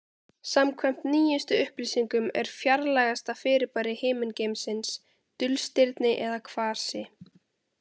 Samkvæmt nýjustu upplýsingum er fjarlægasta fyrirbæri himingeimsins dulstirni eða kvasi.